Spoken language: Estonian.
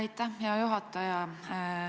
Aitäh, hea juhataja!